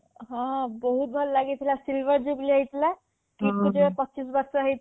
ହଁ ବହୁତ ଭଲ ଲାଗିଥିଲା KIITରେ ପଚିଶ ବର୍ଷ ହେଇଥିଲା